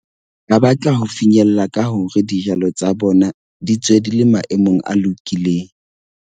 Ba batla ho finyella ka hore dijalo tsa bona di tswe di le maemong a lokileng.